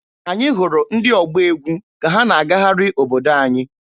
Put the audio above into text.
Anyị hụrụ ndị ọgba egwu ka ha na-agagharị obodo anyị.